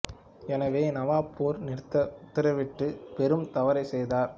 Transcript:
எனவே நவாப் போர் நிறுத்த உத்தரவிட்டு பெரும் தவறை செய்தார்